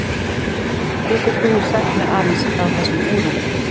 Getur þú sagt mér aðeins frá þessum úrum?